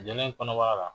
Jɛlen kɔnɔbara la